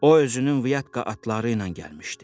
O özünün Viatka atları ilə gəlmişdi.